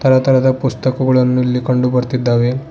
ತರತರದ ಪುಸ್ತಕಗಳನ್ನು ಇಲ್ಲಿ ಕಂಡು ಬರ್ತಿದ್ದಾವೆ.